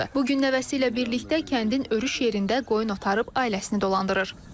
Bu gün nəvəsi ilə birlikdə kəndin örüş yerlərində qoyun otarıb ailəsini dolandırır.